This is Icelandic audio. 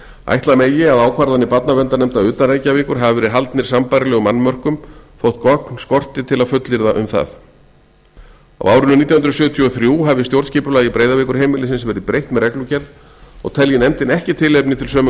ætla megi að ákvarðanir barnarverndarnefnda utan reykjavíkur hafi verið haldnar sambærilegum annmörkum þótt gögn skorti til að fullyrða um það á árinu nítján hundruð sjötíu og þrjú hafi stjórnskipulagi breiðavíkurheimilisins verið breytt með reglugerð og telji nefndin ekki tilefni til sömu